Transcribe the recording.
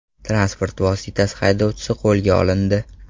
Transport vositasi haydovchisi qo‘lga olindi.